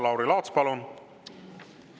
Lauri Laats, palun!